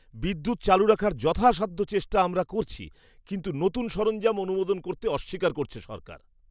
বিদ্যুৎ চালু রাখার যথাসাধ্য চেষ্টা আমরা করছি কিন্তু নতুন সরঞ্জাম অনুমোদন করতে অস্বীকার করছে সরকার।